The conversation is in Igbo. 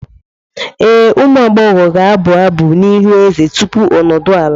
Ee, ụmụ agbọghọ ga-abụ abụ n'ihu eze tupu o nodu ala.